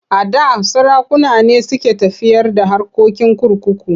A da sarakuna ne suke tafiyar da harkokin kurkuku.